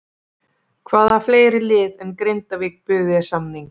Hvaða fleiri lið en Grindavík buðu þér samning?